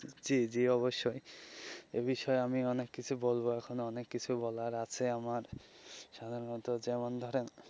জী জী অবশ্যই এ বিষয়ে আমি অনেক কিছু বলবো এখন অনেক কিছু বলার আছে আমার সাধারণত যেমন ধরেন.